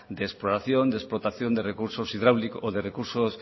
de exploración de explotación de recursos hidráulicos o de recursos